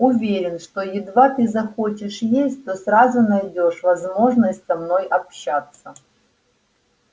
уверен что едва ты захочешь есть то сразу найдёшь возможность со мной общаться